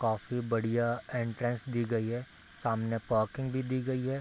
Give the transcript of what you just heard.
काफ़ी बढ़िया एंट्रेंस दी गई है | सामने पार्किंग भी दी गई है।